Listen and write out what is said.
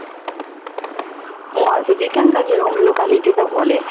ও আচ্ছা যেখানকার যেরম locality তে বলে